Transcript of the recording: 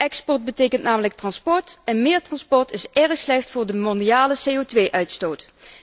Export betekent namelijk transport, en meer transport is erg slecht voor de mondiale CO uitstoot.